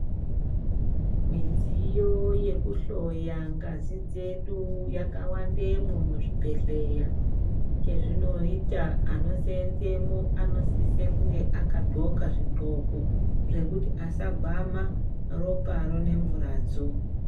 Midziyo yekuhloya ngazi dzedu yakawandemwo muzvibhedhleya, chezvinoita anoseenzemo anosise kunge akadxoka zvidxoko zvekuti asagwama roparo nemvuradzo.